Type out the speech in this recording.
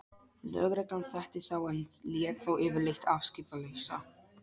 Lögreglan þekkti þá en lét þá yfirleitt afskiptalausa.